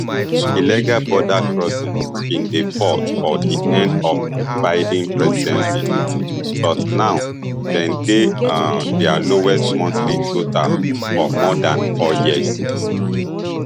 illegal border crossings bin dey fall for di end of biden presidency but now dem dey um dia lowest monthly total for more dan four years